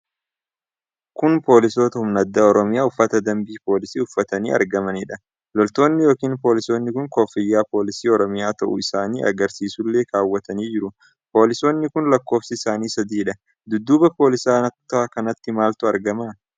Kun poolisoota humna addaa Oromiyaa uffata dambii poolisii uffatanii argamanidha. Loltoonni yookiin poolisoonni kun koofiyyaa poolisii Oromiyaa ta'uu isaanii argasiisullee kaawwatanii jiru. Poolisoonni kun lakkoofsi isaanii sadiidha. Dudduuba poolisoota kanaatti maaltu argama?